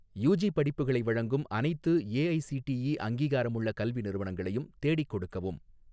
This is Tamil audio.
யூஜி படிப்புகளை வழங்கும் அனைத்து ஏஐஸிடிஇ அங்கீகாரமுள்ள கல்வி நிறுவனங்களையும் தேடிக் கொடுக்கவும்